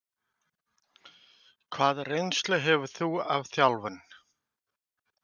Hvaða reynslu hefur þú af þjálfun?